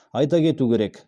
айта кету керек